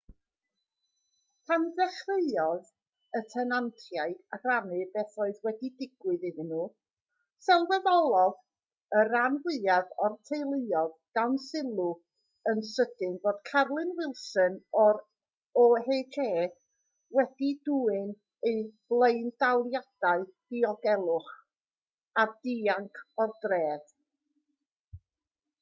pan ddechreuodd y tenantiaid rannu beth oedd wedi digwydd iddyn nhw sylweddolodd y rhan fwyaf o'r teuluoedd dan sylw yn sydyn fod carolyn wilson o'r oha wedi dwyn eu blaendaliadau diogelwch a dianc o'r dref